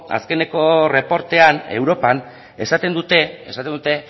azkeneko erreportean europan esaten dute